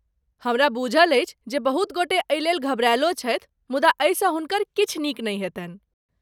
हमरा बूझल अछि जे बहुत गोटे एहिलेल घबरायलो छथि, मुदा एहिसँ हुनकर किछु नीक नहि हेतनि।